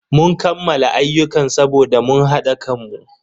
Mun kammala ayyukan saboda mun hada kanmu.